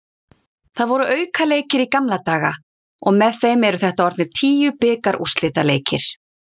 Það voru aukaleikir í gamla daga og með þeim eru þetta orðnir tíu bikarúrslitaleikir.